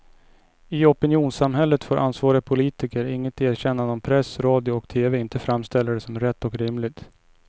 I opinionssamhället får ansvariga politiker inget erkännande om press, radio och tv inte framställer det som rätt och rimligt.